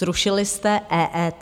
Zrušili jste EET?